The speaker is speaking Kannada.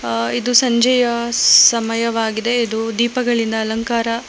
ಅ ಇದು ಸಂಜೆಯ ಸಮಯವಾಗಿದೆ ಇದು ದೀಪಗಳಿಂದ ಅಲಂಕಾರ--